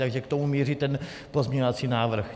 Takže k tomu míří ten pozměňovací návrh.